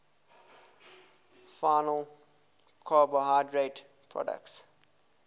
final carbohydrate products